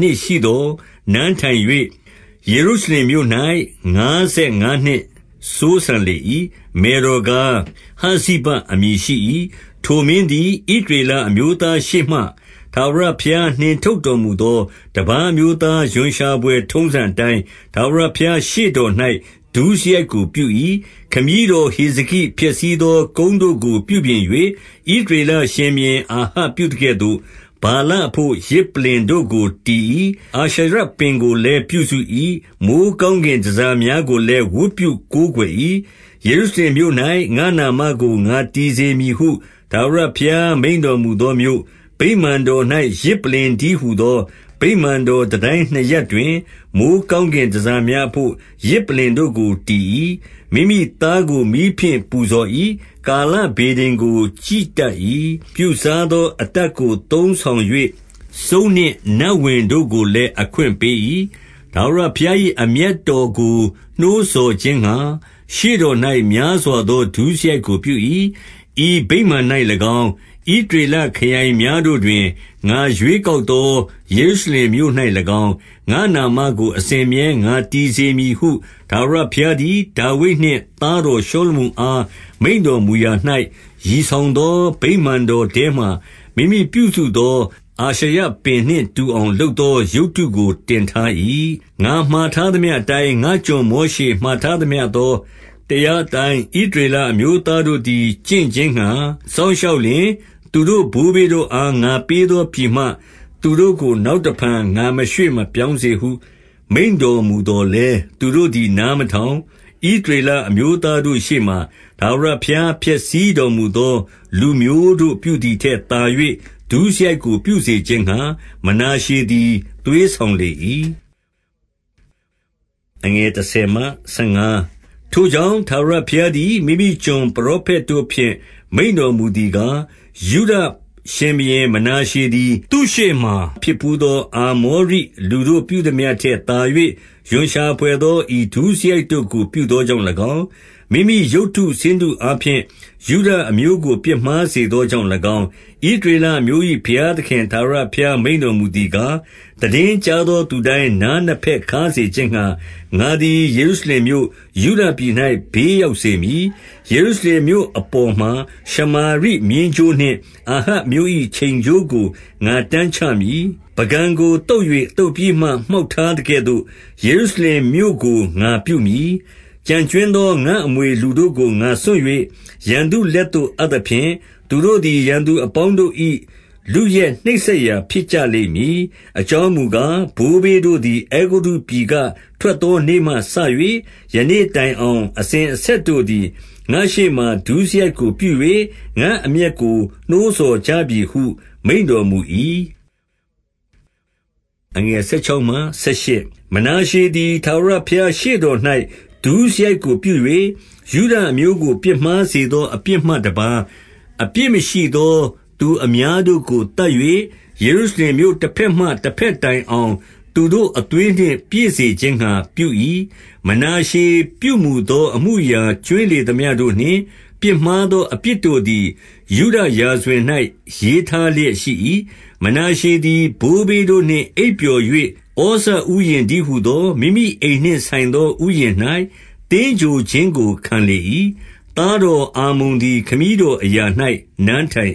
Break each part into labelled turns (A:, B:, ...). A: နှစ်ရှိသော် နန်းထိုင်၍ ယေရုရှလင်မြို့၌ ငါးဆယ်ငါးနှစ်စိုးစံလေ၏။ မယ်တော်ကား၊ ဟဇ္ဇိဘအမည်ရှိ၏။ 2 ထိုမင်းသည် ဣသရေလအမျိုးသားရှေ့မှ ထာဝရဘုရားနှင့် ထုတ်တော်မူသော တပါးအမျိုးသား ရွံရှာဘွယ်ထုံးစံအတိုင်း၊ ထာဝရဘုရား ရှေ့တော်၌ ဒုစရိုက်ကိုပြု၏။ 3 ခမည်းတော်ဟေဇကိ ဖျက်ဆီးသောကုန်းတို့ကို ပြုပြင်၍၊ ဣသရေလရှင်ဘုရင် အာဟပ်ပြုသကဲ့သို့ ဗာလအဘို့ ယဇ်ပလ္လင်တို့ကို တည်၏။ အာရှရပင်ကို လည်း ပြုစု၏။ မိုဃ်းကောင်းကင် တန်ဆာများကိုလည်း ဝတ်ပြုကိုးကွယ်၏။ 4 ယေရုရှလင်မြို့၌ ငါ့နာမကိုငါတည်စေမည်ဟု ထာဝရဘုရား မိန့်တော်မူသောမြို့၊ ဗိမာန်တော်၌ ယဇ် ပလ္လင်တည်းဟူသော၊ 5 ဗိမာန်တော်တန်တိုင်းနှစ်ရပ်တွင် မိုဃ်း ကောင်းကင်တန်ဆာများ အဘို့ ယဇ်ပလ္လင်တို့ကိုတည်၏။ 6 မိမိသားကို မီးဖြင့်ပူဇော်၏။ ကာလဗေဒင်ကို ကြည့်တတ်၏။ ပြုစားသော အတတ်ကို သုံးဆောင်၍ စုန်းနှင့်နတ်ဝင်တို့ကိုလည်း အခွင့်ပေး၏။ ထာဝရဘုရား ၏ အမျက်တော်ကို နှိုးဆော်ခြင်းငှါ ရှေ့တော်၌ များစွာ သော ဒုစရိုက်ကိုပြု၏။ 7 ဤဗိမာန်၌၎င်း၊ ဣသရေလခရိုင်များတို့တွင် ငါရွေးကောက်သော ယေရုရှလင်မြို့၌၎င်း၊ ငါ့နာမကို အစဉ်အမြဲ ငါတည်စေမည်ဟု ထာဝရဘုရားသည် ဒါဝိဒ် နှင့် သားတော်ရှောလမုန်အား မိန့်တော်မူရာ၌၊ ရည် ဆောင်သော ဗိမာန်တော်ထဲမှာ မိမိပြုစုသော အာရှရ ပင်နှင့်တူအောင် လုပ်သောရုပ်တုကို တင်ထား၏။ 8 ငါမှာထားသမျှအတိုင်း ငါ့ကျွန်မောရှေ မှာထား သမျှသော တရားအတိုင်း ဣသရေလအမျိုးသားတို့သည် ကျင့်ခြင်းငှါ စောင့်ရှောက်လျှင်၊ သူတို့ဘိုးဘေးတို့အား ငါပေးသော ပြည်မှ သူတို့ကို နောက်တဖန် ငါမရွှေ့ မပြောင်းစေဟု မိန့်တော်မူသော်လည်း၊ 9 သူတို့သည် နားမထောင်၊ ဣသရေလအမျိုးသား တို့ရှေ့မှာ ထာဝရဘုရား ဖျက်ဆီးတော်မူသော လူမျိုးတို့ ပြုသည်ထက် သာ၍ ဒုစရိုက်ကိုပြုစေခြင်းငှါ မနာရှေ သည် သွေးဆောင်လေ၏။ 10 ထိုကြောင့် ထာဝရဘုရားသည် မိမိကျွန်ပရော ဖက်တို့ဖြင့် မိန့်တော်မူသည်ကား၊ 11 ယုဒရှင်ဘုရင် မနာရှေသည် သူ့ရှေ့မှာ ဖြစ်ဘူး သော အာမောရိလူတို့ပြုသမျှထက် သာ၍ရွံရှာဘွယ် သော ဤဒုစရိုက်တို့ကို ပြုသောကြောင့်၎င်း၊ မိမိရုပ်တု ဆင်းတုအားဖြင့် ယုဒအမျိုးကို ပြစ်မှားစေသောကြောင့် ၎င်း၊ 12 ဣသရေလအမျိုး၏ ဘုရားသခင်ထာဝရဘုရား မိန့်တော်မူသည်ကား၊ သိတင်းကြားသောသူတိုင်း နားနှစ်ဘက်ခါးစေခြင်းငှါ ငါသည် ယေရုရှလင်မြို့၊ ယုဒ ပြည်၌ ဘေးရောက်စေမည်။ 13 ယေရုရှလင်မြို့ အပေါ်မှာ ရှမာရိမျဉ်းကြိုးနှင့် အာဟပ်အမျိုး၏ ချိန်ကြိုးကို ငါတန်းချမည်။ ပုကန်ကို သုတ်၍ သုတ်ပြီးမှ မှောက်ထားသကဲ့သို့ ယေရုရှလင်မြို့ကို ငါပြုမည်။ 14 ကျန်ကြွင်းသောငါ့အမွေ လူတို့ကိုငါစွန့်၍ရန်သူလက်သို့ အပ်သဖြင့်၊ သူတို့သည်ရန်သူအပေါင်းတို့၏ လုယက်နှိပ်စက် ရာဖြစ်ကြလိမ့်မည်။ 15 အကြောင်းမူကား ဘိုးဘေးတို့သည် အဲဂုတ္တု ပြည်က ထွက်သော နေ့မှစ၍ ယနေ့တိုင်အောင် အစဉ် အဆက်တို့သည် ငါ့ရှေ့မှာ ဒုစရိုက်ကို ပြု၍ ငါ့အမျက်ကို နှိုးဆော်ကြပြီဟု မိန့်တော်မူ၏။ 16 မနာရှေသည် ထာဝရဘုရား ရှေ့တော်၌ ဒုစရိုက်ကိုပြု၍ ယုဒအမျိုးကို ပြစ်မှားစေသောအပြစ်မှ တပါးအပြစ်မရှိသော သူအများတို့ကို သတ်၍ ယေရု ရှလင်မြို့တဘက်မှ တဘက်တိုင်အောင် သူတို့အသွေးနှင့် ပြည့်စေခြင်းငှါပြု၏။ 17 မနာရှေပြုမူသော အမှုအရာ ကြွင်းလေသမျှ တို့နှင့် ပြစ်မှားသော အပြစ်တို့သည် ယုဒရာဇဝင်၌ ရေးထားလျက်ရှိ၏။ 18 မနာရှေသည် ဘိုးဘေးတို့နှင့် အိပ်ပျော်၍၊ ဩဇဥယျာဉ်တည်းဟူသော မိမိအိမ်နှင့်ဆိုင်သော ဥယျာဉ်၌ သင်္ဂြိုဟ်ခြင်းကို ခံလေ၏။ သားတော်အာမုန် သည် ခမည်းတော်အရာ၌ နန်းထိုင်၏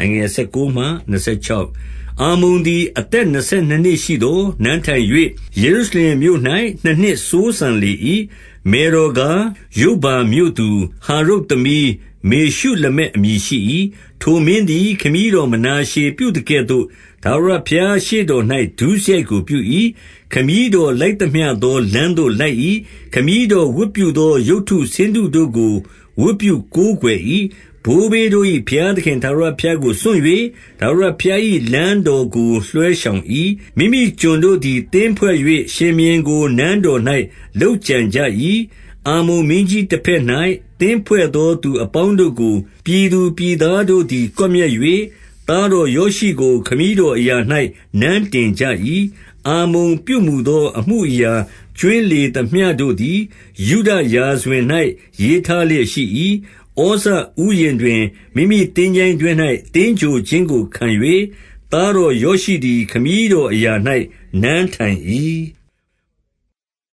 A: ။ 19 အာမုန်သည် အသက်နှစ်ဆယ်နှစ်နှစ်ရှိသော် နန်းထိုင်၍ ယေရုရှလင်မြို့၌ နှစ်နှစ်စိုးစံလေ၏။ မယ်တော်ကား ယုပ္ဘါမြို့သူ ဟာရုပ်သမီး မေရှုလမက် အမည်ရှိ၏။ 20 ထိုမင်းသည် ခမည်းတော် မနာရှေပြုသကဲ့သို့ ထာဝရဘုရားရှေ့တော်၌ ဒုစရိုက်ကို ပြု၏။ 21 ခမည်းတော်လိုက်သမျှသောလမ်းသို့ လိုက်၏။ ခမည်းတော်ဝတ်ပြုသော ရုပ်တုဆင်းတုတို့ကို ဝတ်ပြု ကိုးကွယ်၏။ 22 ဘိုးဘေးတို့၏ ဘုရားသခင် ထာဝရဘုရားကို စွန့်၍ ထာဝရဘုရား၏ လမ်းတော်ကိုလွှဲရှောင်၏။ 23 မိမိကျွန်တို့သည် သင်းဖွဲ့၍ ရှင်ဘုရင်ကို နန်းတော်၌ လုပ်ကြံကြ၏။ 24 အာမုန်မင်းကြီးတဘက်၌ သင်းဖွဲ့သော သူ အပေါင်းတို့ကို ပြည်သူပြည်သားတို့သည် ကွပ်မျက်၍ သားတော်ယောရှိကို ခမည်းတော်အရာ၌ နန်းတင်ကြ၏။ 25 အာမုန်ပြုမူသော အမှုအရာ ကြွင်းလေသမျှတို့ သည် ယုဒရာဇဝင်၌ ရေးထားလျက်ရှိ၏။ 26 ဩဇဥယျာဉ်တွင် မိမိသင်္ချိုင်းတွင်း၌ သင်္ဂြိုဟ် ခြင်းကိုခံ၍၊ သားတော်ယောရှိသည် ခမည်းတော်အရာ၌ နန်းထိုင်၏။